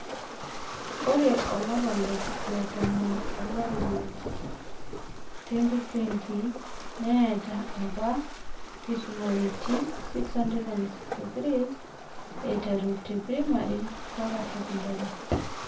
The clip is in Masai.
Ore olapa letomon olari le 2020, neet apa nkisumaritin 663, eiteru te pirimari mpaka sekondari.